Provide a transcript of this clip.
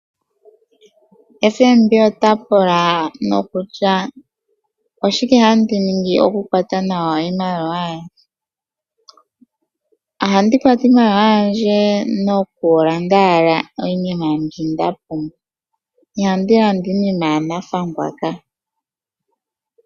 Ombanga yotango yopashigwana otayi pula nokutya oshike handi ningi okukwata nawa iimaliwa yandje. Ohandi kwata iimaliwa yandje noku landa owala iinima mbi nda pumbwa. Ihandi landa iinima yanathangwa kaa.